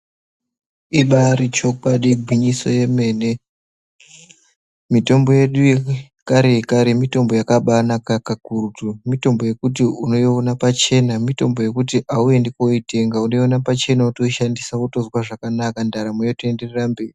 Ibari chokwadi gwinyiso yemene. Mitombo yedu yekare yekare mitombo yakabanaka kakurutu . Mitombo yekuti unoiona pachena mitombo yekuti auendi koitenga unoiona pachena wotoishandisa wotozwa zvakanaka ndaramo yotoenderera mberi.